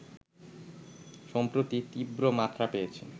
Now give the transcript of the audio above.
সম্প্রতি তীব্র মাত্রা পেয়েছে